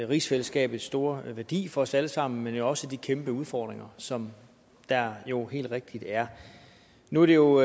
rigsfællesskabets store værdi for os alle sammen men også de kæmpe udfordringer som der jo helt rigtigt er nu er det jo